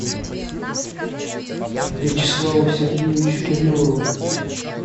вячеславу сергеевичу кириллову